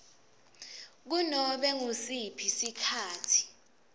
kunobe ngusiphi sikhatsi